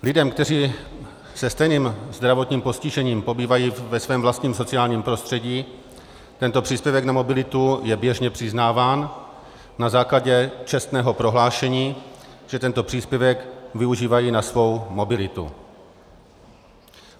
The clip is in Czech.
Lidem, kteří se stejným zdravotním postižením pobývají ve svém vlastním sociálním prostředí, tento příspěvek na mobilitu je běžně přiznáván na základě čestného prohlášení, že tento příspěvek využívají na svou mobilitu.